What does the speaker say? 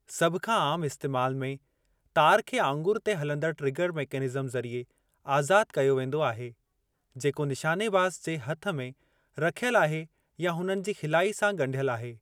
सभ खां आमु इस्तेमाल में, तारि खे आङुरि ते हलंदड़ ट्रिगर मेकेनिज़्म ज़रिए आज़ादु कयो वेंदो आहे, जेको निशानेबाज़ जे हथ में रखियल आहे या हुननि जी खिलाई सां ॻंढियल आहे।